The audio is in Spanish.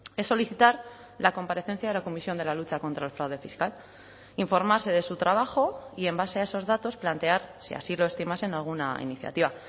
es solicitar la comparecencia de la comisión de la lucha contra el fraude fiscal informarse de su trabajo y en base a esos datos plantear si así lo estimasen alguna iniciativa